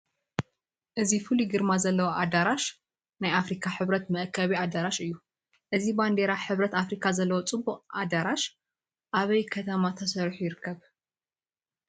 እዚ ፍሉይ ግርማ ዘለዎ ኣዳራሽ ናይ ኣፍሪካ ሕብረት መአከቢ ኣዳራሽ እዩ፡፡ እዚ ባንዲራ ሕብረት ኣፍሪካ ዘለዎ ፅቡቕ ኣዳራሽ ኣበይ ከተማ ተሰሪሑ ይርከብ?